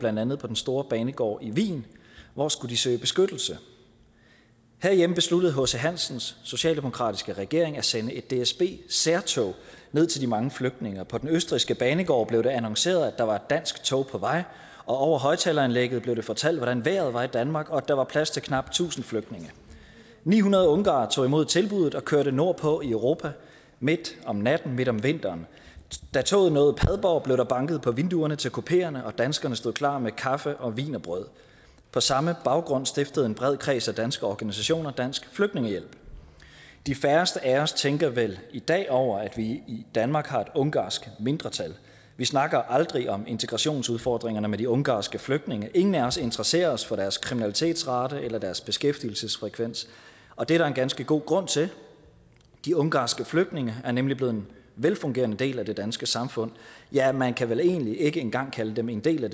blandt andet på den store banegård i wien hvor skulle de søge beskyttelse herhjemme besluttede h c hansens socialdemokratiske regering at sende et dsb særtog ned til de mange flygtninge på den østrigske banegård blev det annonceret at der var et dansk tog på vej og over højtaleranlægget blev det fortalt hvordan vejret var i danmark og at der var plads til knap tusind flygtninge ni hundrede ungarere tog imod tilbuddet og kørte nordpå i europa midt om natten midt om vinteren da toget nåede padborg blev der banket på vinduerne til kupeerne og danskerne stod klar med kaffe og wienerbrød på samme baggrund stiftede en bred kreds af danske organisationer dansk flygtningehjælp de færreste af os tænker vel i dag over at vi i danmark har et ungarsk mindretal vi snakker aldrig om integrationsudfordringerne med de ungarske flygtninge ingen af os interesserer os for deres kriminalitetsrate eller deres beskæftigelsesfrekvens og det er der en ganske god grund til de ungarske flygtninge er nemlig blevet en velfungerende del af det danske samfund ja man kan vel egentlig ikke engang kalde dem en del af